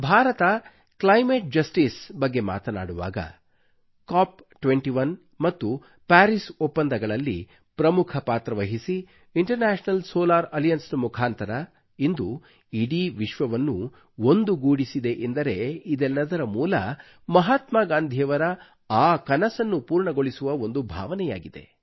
ಭಾರತವು climate justice ಬಗ್ಗೆ ಮಾತನಾಡುವಾಗ Cop21 ಮತ್ತು ಪಾರಿಸ್ ಒಪ್ಪಂದಗಳಲ್ಲಿ ಪ್ರಮುಖ ಪಾತ್ರ ವಹಿಸಿ ಇಂಟರ್ನ್ಯಾಷನಲ್ ಸೋಲಾರ್ ಅಲಿಯನ್ಸ್ ನ ಮುಖಾಂತರ ಇಂದು ಇಡೀ ವಿಶ್ವವನ್ನು ಒಂದುಗೂಡಿಸಿದೆ ಎಂದರೆ ಇದೆಲ್ಲದರ ಮೂಲ ಮಹಾತ್ಮಾ ಗಾಂಧಿಯವರ ಆ ಕನಸನ್ನು ಪೂರ್ಣಗೊಳಿಸುವ ಒಂದು ಭಾವನೆಯಾಗಿದೆ